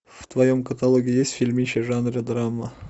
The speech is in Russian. в твоем каталоге есть фильмище жанра драма